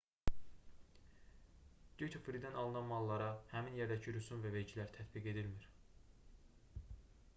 dyuti fridən alınan mallara həmin yerdəki rüsum və vergilər tətbiq edilmir